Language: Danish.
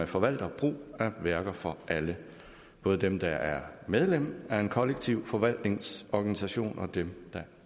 forvalter brug af værker for alle både dem der er medlem af en kollektiv forvaltnings organisation og dem der